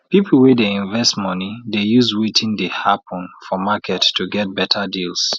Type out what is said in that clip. people wey dey invest money dey use wetin dey happen for market to get better deals